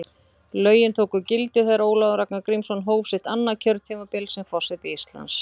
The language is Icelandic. Lögin tóku gildi þegar Ólafur Ragnar Grímsson hóf sitt annað kjörtímabil sem forseti Íslands.